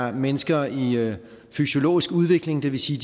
er mennesker i fysiologisk udvikling det vil sige